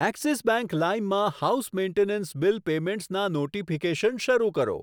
Axis Bank Lime માં house maintenance bill પેમેંટસના notification શરૂ કરો.